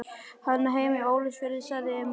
Hann á heima í Ólafsfirði, sagði Emil.